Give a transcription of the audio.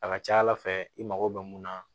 A ka ca ala fɛ i mago bɛ mun na